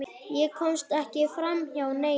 Ég komst ekki framhjá neinum.